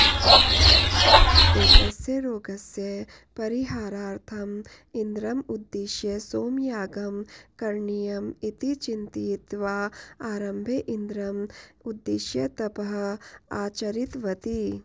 एतस्य रोगस्य परिहारार्थम् इन्द्रम् उद्दिश्य सोमयागं करणीयम् इति चिन्तयित्वा आरम्भे इन्द्रम् उद्दिश्य तपः आचरितवती